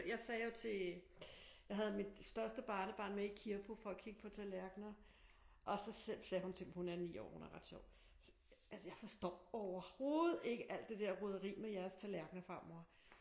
Jeg sagde jo til jeg havde mit største barnebarn med i Kirppu for at kigge på tallerkener og så sagde hun til mig hun er 9 år hun er ret sjov altså jeg forstår overhovedet ikke alt det der roderi med jeres tallerkener farmor